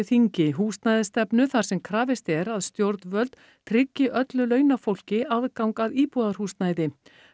þingi húsnæðisstefnu þar sem krafist er að stjórnvöld tryggi að öllu launafólki aðgang að íbúðarhúsnæði